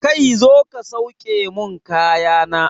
Kai zo ka sauke mun kaya na!